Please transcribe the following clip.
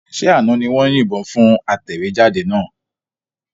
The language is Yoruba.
Ṣé àná ni wọ́n yìnbọn fún atẹ̀wéjáde náà?